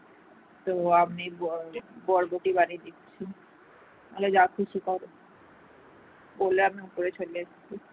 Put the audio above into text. বললাম উপরে চলে এসেছি